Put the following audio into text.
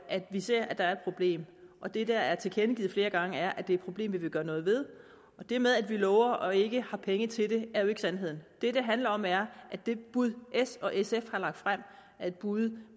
at vi ser at der er et problem og det der er tilkendegivet flere gange er at det er et problem vi vil gøre noget ved det med at vi lover og ikke har penge til det er jo ikke sandheden det det handler om er at det bud s og sf har lagt frem er et bud